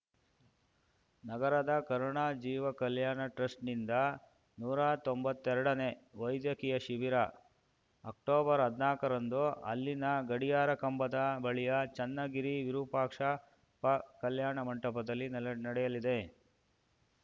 ನಗರದ ಕರುಣಾ ಜೀವ ಕಲ್ಯಾಣ ಟ್ರಸ್ಟ್‌ನಿಂದ ನೂರಾ ತೊಂಬತ್ತೆರಡನೇ ವೈದ್ಯಕೀಯ ಶಿಬಿರ ಅಕ್ಟೊಬರ್ಹದ್ನಾಕ ರಂದು ಇಲ್ಲಿನ ಗಡಿಯಾರ ಕಂಬದ ಬಳಿಯ ಚನ್ನಗಿರಿ ವಿರೂಪಾಕ್ಷಪ್ಪ ಕಲ್ಯಾಣ ಮಂಟಪದಲ್ಲಿ ನಲ್ ನಡೆಯಲಿದೆ